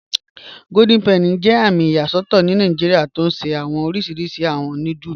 Golden Penny jẹ àmì iyasọtọ Nàìjíríà tí o ṣẹ̀ awọn òrìṣirìṣì awọn núdùlù